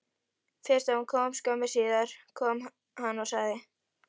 Fyrst kom hún og skömmu síðar kom hann og sagði: